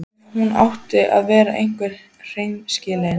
Ef hún átti að vera alveg hreinskilin.